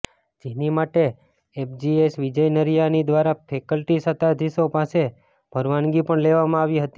જેની માટે એફજીએસ વિજય નરીયાની દ્વારા ફેકલ્ટી સત્તાધિશો પાસે પરવાનગી પણ લેવામાં આવી હતી